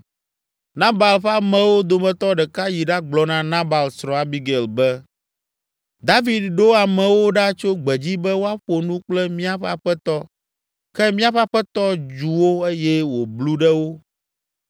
Nabal ƒe amewo dometɔ ɖeka yi ɖagblɔ na Nabal srɔ̃, Abigail, be, “David ɖo amewo ɖa tso gbedzi be woaƒo nu kple míaƒe aƒetɔ ke míaƒe aƒetɔ dzu wo eye wòblu ɖe wo.